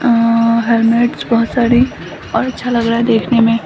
अ helmets बहुत सारी और अच्छा लग रहा है देखने मे --